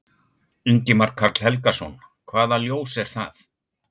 Ingimar Karl Helgason: Hvaða ljós er það?